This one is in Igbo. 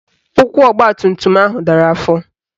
Ụkwụ ọgbatumtum ahụ dara afọ